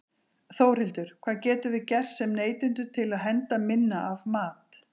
Þórhildur: Hvað getum við gert sem neytendur til að henda minna af mat?